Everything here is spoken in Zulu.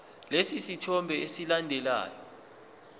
lesi sithombe esilandelayo